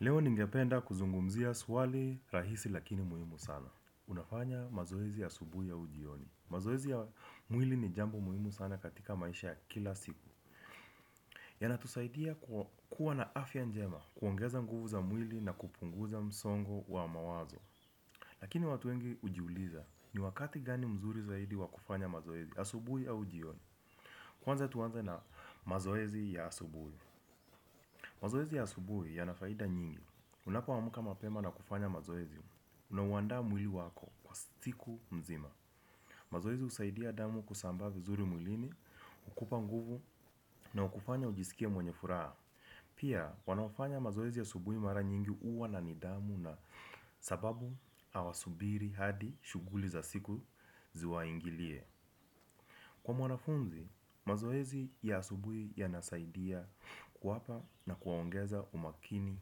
Leo ningependa kuzungumzia swali rahisi lakini muhimu sana. Unafanya mazoezi ya asubuhi au jioni. Mazoezi ya mwili ni jambo muhimu sana katika maisha kila siku. Yanatusaidia kuwa na afya njema kuongeza nguvu za mwili na kupunguza msongo wa mawazo. Lakini watu wengi ujiuliza ni wakati gani mzuri zaidi wa kufanya mazoezi a subuhi au jioni. Kwanza tuanza na mazoezi ya asubuhi. Mazoezi ya asubuhi ya nafaida nyingi. Unapoamka mapema na kufanya mazoezi, unauandaa mwili wako, siku mzima. Mazoezi usaidia damu kusambaa vizuri mwilini, ukupa nguvu na ukufanya ujiskie mwenye furaha. Pia, wanaofanya mazoezi asubui mara nyingi uwa na ni dhamu na sababu awasubiri hadi shughuli za siku zi waingilie. Kwa mwanafunzi, mazoezi ya asubui ya nasaidia kuwapa na kuwaongeza umakini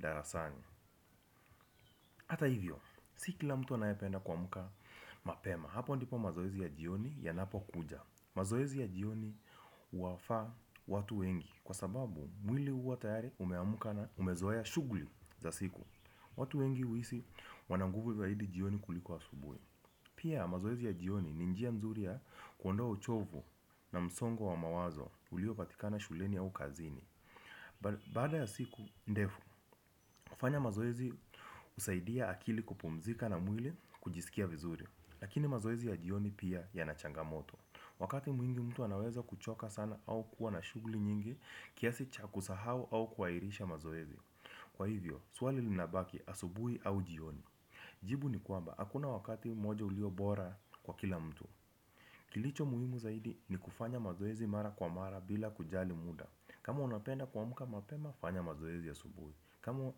darasani. Hata hivyo, sikila mtu anayependa kuamka mapema. Hapo ndipo mazoezi ya jioni ya napo kuja. Mazoezi ya jioni huwafaa watu wengi. Kwa sababu, mwili uwa tayari umeamka na umezoea shugli za siku. Watu wengi uhisi wana nguvu zaidi jioni kuliko asubui. Pia, mazoezi ya jioni ni njia nzuri ya kuondoa uchovu na msongo wa mawazo ulio patikana shuleni au kazini. Baada ya siku ndefu, kufanya mazoezi usaidia akili kupumzika na mwili kujiskia vizuri. Lakini mazoezi ya jioni pia yanachangamoto. Wakati mwingi mtu anaweza kuchoka sana au kuwa na shugli nyingi kiasi chakusahau au kuhairisha mazoezi. Kwa hivyo, swali linabaki asubui au jioni. Jibu ni kwamba, hakuna wakati moja ulio bora kwa kila mtu. Kilicho muhimu zaidi ni kufanya mazoezi mara kwa mara bila kujali muda. Kama unapenda kuamka mapema, fanya mazoezi asubuhi. Kama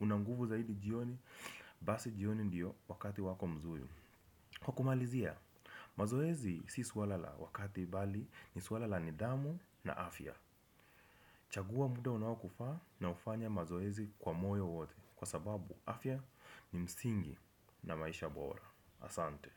una nguvu zaidi jioni, basi jioni ndiyo wakati wako mzuri. Kwa kumalizia, mazoezi si swara la wakati bali ni swala la ni dhamu na afya. Chagua mda unaokufaa na ufanya mazoezi kwa moyo wote. Kwa sababu afya ni msingi na maisha bora. Asante.